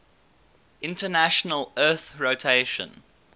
international earth rotation